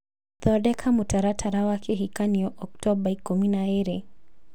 thondeka mũtaratara wa kĩhikanio Oktomba ikũmi na ĩĩrĩ